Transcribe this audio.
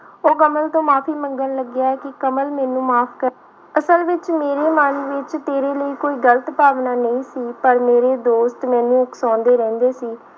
ਉਹ ਕਮਲ ਤੋਂ ਮਾਫ਼ੀ ਮੰਗਣ ਲੱਗਿਆ ਕਿ ਕਮਲ ਮੈਨੂੰ ਮਾਫ਼ ਕਰ, ਅਸਲ ਵਿੱਚ ਮੇਰਾ ਮਨ ਵਿੱਚ ਤੇਰੇ ਲਈ ਕੋਈ ਗ਼ਲਤ ਭਾਵਨਾ ਨਹੀਂ ਸੀ, ਪਰ ਮੇਰੇ ਦੋਸਤ ਮੈਨੂੰ ਉਕਸਾਉਂਦੇ ਰਹਿੰਦੇ ਸੀ।